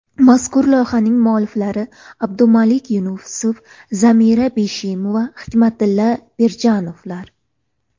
Mazkur loyihaning mualliflari Abdumalik Yunusov, Zamira Beshimova, Hikmatilla Pirjonovlar.